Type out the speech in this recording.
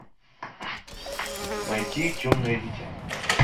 найти темное дитя